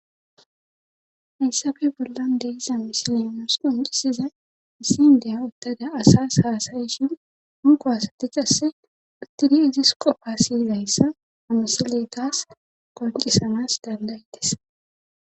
Hayssabe bollan deiza misilemusuu hucisizay issin deya uttada asas haasayishin hunko wasatecasse uttidi izis qopa syidayssa amisiley taas qoncisamas dandaytes.